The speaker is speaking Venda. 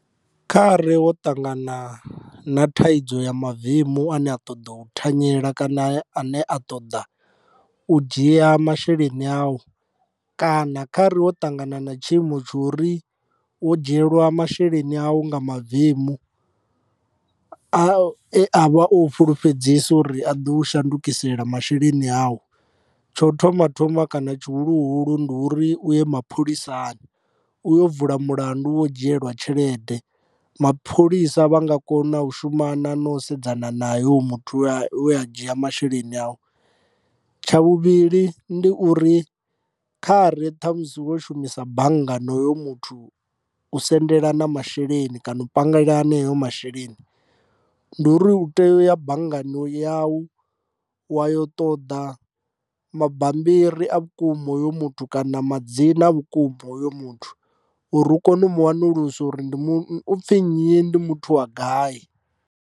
Kha re wo ṱangana na thaidzo ya mavemu a ne a ṱoḓa u thanyela kana ane a ṱoḓa u dzhia masheleni awu kana kha ri wo ṱangana na tshiimo tsha uri u dzhielwa masheleni awu nga mavemu e avha o u fulufhedzisa uri a ḓo u shandukisela masheleni awu. Tsho thoma thoma kana tshihuluhulu ndi uri u ye mapholisani u yo vula mulandu wo dzhielwa tshelede mapholisa vha nga kona u shumana no sedzana nae hoyu muthu we a dzhia masheleni awu. Tsha vhuvhili ndi uri kha re ṱhamusi wo shumisa bannga na hoyo muthu u sendelana masheleni kana u pangelana haneyo masheleni ndi uri u tea u ya banngani yau wa yo ṱoḓa mabambiri a vhukuma hoyo muthu kana madzina vhukuma a hoyo muthu uri u kone u mu wanulusa uri ndi u pfhi nnyi ndi muthu wa gai.